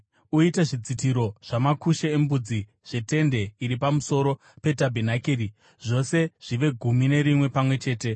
“Uite zvidzitiro zvamakushe embudzi zvetende riri pamusoro petabhenakeri, zvose zvive gumi nerimwe pamwe chete.